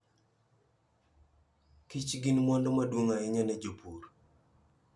Kich gin mwandu maduong' ahinya ne jopur.